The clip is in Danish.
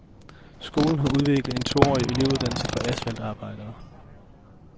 Skolen har udviklet en toårig elevuddannelse for asfaltarbejdere.